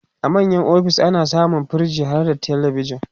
a manya ofis ana samun firij harda telebijan